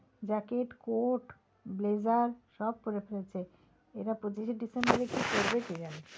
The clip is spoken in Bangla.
Jacket, coat, blazer সব পরে ফেলছে এরা পঁচিশে December এ কী করবে কে জানে?